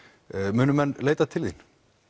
munu menn leita til þín